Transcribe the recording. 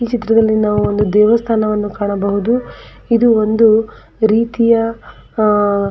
ಈ ಚಿತ್ರದಲ್ಲಿ ನಾವು ಒಂದು ದೇವಸ್ಥಾನವನ್ನು ಕಾಣಬಹುದು ಇದು ಒಂದು ರೀತಿಯ ಆಹ್ಹ್ --